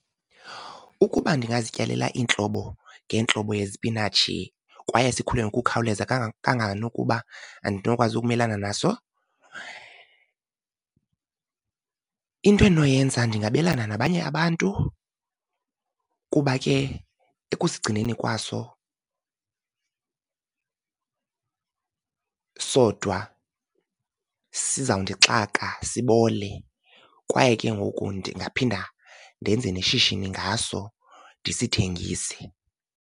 Ukuba ndingazityalela iintlobo ngeentlobo yezipinatshi kwaye sikhule ngokukhawuleza kangangenokuba andinokwazi ukumelana naso, into endinoyenza ndingabelana nabanye abantu, kuba ke ekusigcineni kwaso sodwa siza kundixaka sibole, kwaye ke ngoku ndingaphinda ndenze neshishini ngaso ndisithengise.